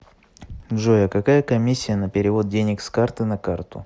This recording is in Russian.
джой а какая комиссия на перевод денег с карты на карту